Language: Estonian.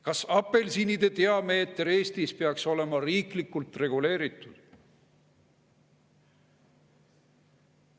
Kas apelsinide diameeter Eestis peaks olema riiklikult reguleeritud?